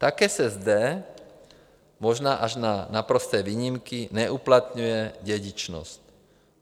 Také se zde, možná až na naprosté výjimky, neuplatňuje dědičnost.